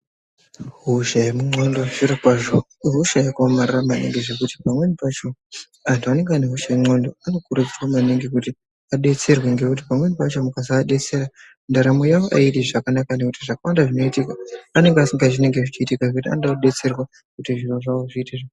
Hosha yemundxondo zvirokwazvo ihosha yakaomarara maningi zvokuti pamweni pacho antu anenge anehosha yendxondo anokurudzirwa maningi kuti adetserwe. Ngekuti pamweni pacho mukasaadetsera, ndaramo yavo haaiti zvakanaka. Nekuti zvakawanda zvinoitika anenge asingazii zvinenge zvichiitika zvekuti anoda kudetserwa kuti zviro zvavo zviite zvakana...